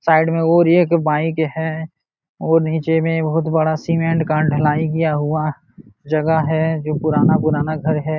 Side में और एक बाइक है और नीचे में बहोत बड़ा सीमेंट का ढलाई किया हुआ जगह है। जो पुराना-पुराना घर है।